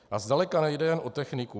A zdaleka nejde jen o techniku.